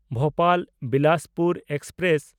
ᱵᱷᱳᱯᱟᱞ–ᱵᱤᱞᱟᱥᱯᱩᱨ express